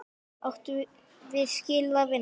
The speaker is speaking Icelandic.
Áttum við skilið að vinna?